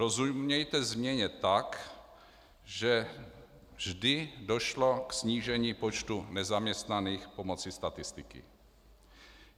Rozumějte - změněna tak, že vždy došlo k snížení počtu nezaměstnaných pomocí statistiky.